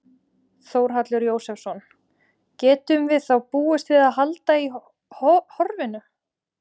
Þórhallur Jósefsson: Getum við þá búist við að halda í horfinu?